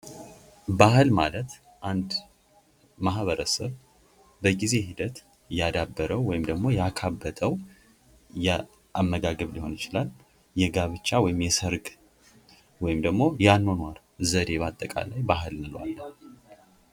ባህል ማለት አንድ ማህበረሰብ በጊዜ ሂደት እያዳበረው ወይም ደግሞ ያካበተው የአመጋገብ ሊሆን ይችላል የጋብቻ ወይም የሰርግ ወይም ደግሞ የአኗኗር ዘዴ በአጠቃላይ ባህል እንለዋለን።